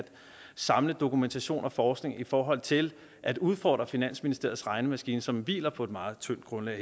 samle dokumentation og forskning i forhold til at udfordre finansministeriets regnemaskine som hviler på et meget tyndt grundlag